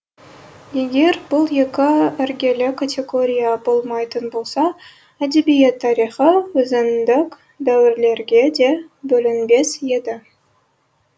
егер бұл екі іргелі категория болмайтын болса әдебиет тарихы өзіндік дәуірлерге де бөлінбес еді